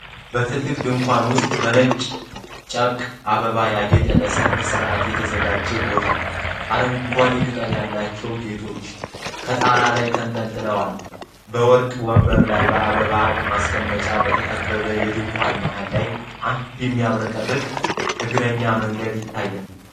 በትልቅ ድንኳን ውስጥ በነጭ ጨርቅና አበባ ያጌጠ ለሠርግ ሥነ ሥርዓት የተዘጋጀ ቦታ፣ አረንጓዴ ቅጠል ያላቸው ጌጦች ከጣራው ላይ ተንጠልጥለዋል፣ በወርቅ ወንበሮችና በአበባ የአበባ ማስቀመጫዎች በተከበበው የድንኳኑ መሃል ላይ አንድ የሚያብረቀርቅ የእግረኛ መንገድ ይታያል።